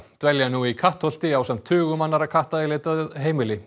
dvelja nú í Kattholti ásamt tugum annarra katta í leit að heimili